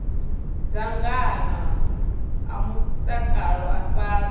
dzangano a mutakalo a ifhasi